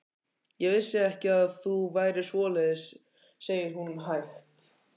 Ég vissi ekki að þú værir svoleiðis, segir hún hægt.